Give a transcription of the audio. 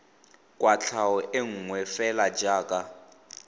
kwatlhao e nngwe fela jaaka